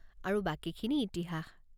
আৰু বাকীখিনি ইতিহাস।